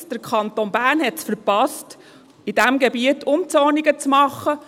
Erstens: Der Kanton Bern hat es verpasst, in diesem Gebiet Umzonungen vorzunehmen.